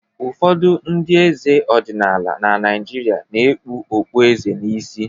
Ụfọdụ ndị eze ọdịnala na Naịjirịa na-ekpu okpueze n'isi